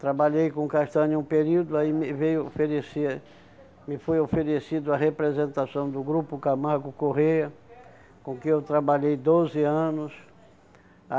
Trabalhei com castanha um período, aí me veio oferecer, me foi oferecido a representação do grupo Camargo Correia, com quem eu trabalhei doze anos.